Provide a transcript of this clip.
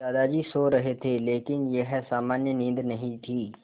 दादाजी सो रहे थे लेकिन यह सामान्य नींद नहीं थी